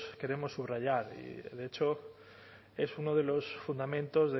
queremos subrayar y de hecho es uno de los fundamentos